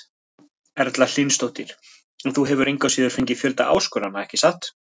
Erla Hlynsdóttir: En þú hefur engu að síður fengið fjölda áskorana, ekki satt?